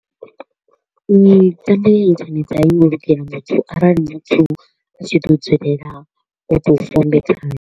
Mitambo ya internet a i ngo lugela muthu arali muthu a tshi tshi ḓo dzulela o to u fombe khayo.